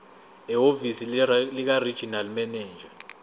ehhovisi likaregional manager